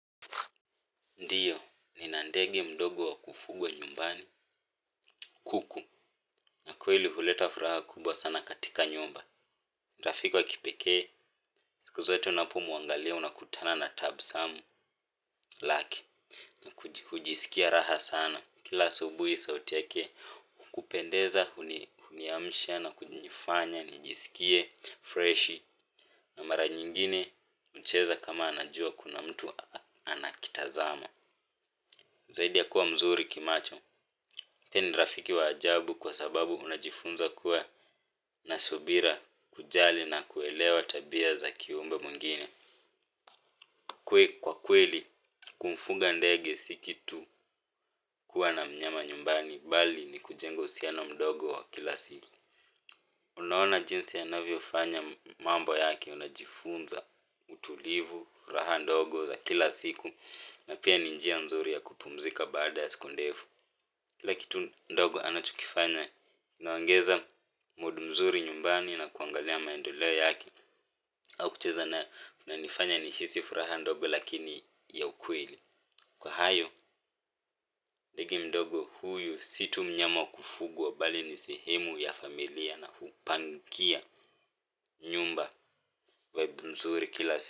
Ndio, nina ndege mdogo wa kufugwa nyumbani, kuku, na kweli huleta furaha kubwa sana katika nyumba. Ni rafiki wa kipekee, siku zote unapomwangalia unakutana na tabasamu lake. Hujiskia raha sana. Kila asubuhi sauti yake, hukupendeza, huniamsha na kunifanya, nijisikie, freshi. Na mara nyingine, hucheza kama anajua kuna mtu anakitazama. Zaidi ya kuwa mzuri kimacho, yeye ni rafiki wa ajabu kwa sababu unajifunza kuwa na subira, kujali na kuelewa tabia za kiumbe mwingine. Kwa kweli, kumfuga ndege si kitu kuwa na mnyama nyumbani, bali ni kujenga uhusiano mdogo wa kila siku. Unaona jinsi anavyofanya mambo yake unajifunza utulivu, raha ndogo za kila siku, na pia ni njia mzuri ya kupumzika baada ya siku ndefu. Kila kitu ndogo anachokifanya kinaongeza mood nzuri nyumbani na kuangalia maendeleo yake au kucheza kunanifanya nihisi furaha ndogo lakini ya ukweli. Kwa hayo, ndege mdogo huyu si tu mnyama wa kufuguwa bali ni sehemu ya familia na hupangia. Nyumba vibe mzuri kila si,